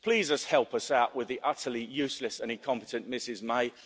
Please help us out with the utterly useless and incompetent Mrs